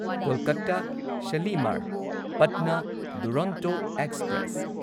Kolkata Shalimar Patna Duronto express